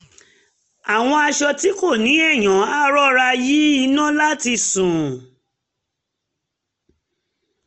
a wọ aṣọ tí kò ní èèyàn a rọra yí iná láti sùn